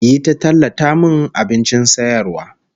Yi ta tallata min abincin sayarwar